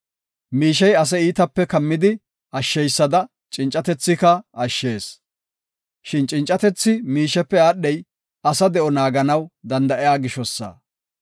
Miishey ase iitape kammidi ashsheysada cincatethika ashshees. Shin cincatethi miishepe aadhey asa de7o naaganaw danda7iya gishosa.